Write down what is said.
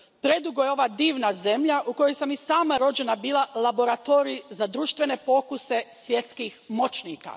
Predugo je ova divna zemlja u kojoj sam i sama rođena bila laboratorij za društvene pokuse svjetskih moćnika!